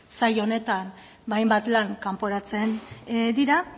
sail honetan ba hainbat lan kanporatzen dira